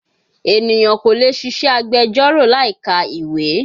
Ènìyàn kò lè ṣiṣẹ́ agbẹjọ́rò láì ka ìwé